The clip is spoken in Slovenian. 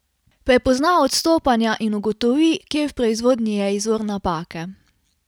Prepozna odstopanja in ugotovi, kje v proizvodnji je izvor napake.